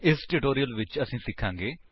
ਇਸ ਟਿਊਟੋਰਿਅਲ ਵਿੱਚ ਅਸੀ ਸਿਖਾਂਗੇ